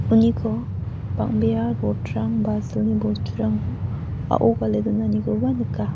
uniko bang·bea rod-rang ba silni bosturang a·o gale donanikoba nika.